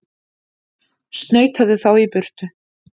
Snautaðu þá í burtu!